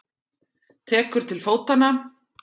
Tekur til fótanna.